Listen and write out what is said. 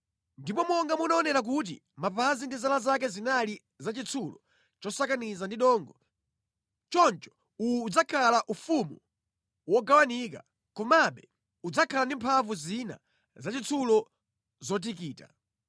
Ndipo monga munaonera kuti mapazi ndi zala zake zinali za chitsulo chosakaniza ndi dongo, choncho uwu udzakhala ufumu wogawikana; komabe udzakhala ndi mphamvu zina zachitsulo zotikita.